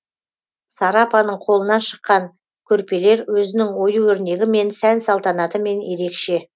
сара апаның қолынан шыққан көрпелер өзінің ою өрнегімен сән салтанатымен ерекше